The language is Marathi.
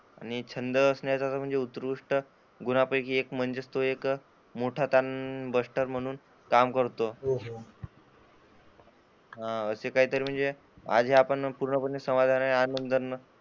आणि छंद असणं म्हणजे सर्वोकृष्ठ गुणांपैकी एक म्हणजेच तो एक मोठा , काम करतो. हो. असा काहीतरी म्हणजे आज हे आपण पूर्णपणे समाधानी आहे.